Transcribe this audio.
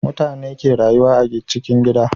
Mutane ke rayuwa a cikin gida